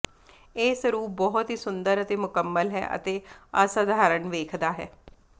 ਇਹ ਸਰੂਪ ਬਹੁਤ ਹੀ ਸੁੰਦਰ ਤੇ ਮੁਕੰਮਲ ਹੈ ਅਤੇ ਅਸਾਧਾਰਨ ਵੇਖਦਾ ਹੈ